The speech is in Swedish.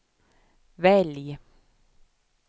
välj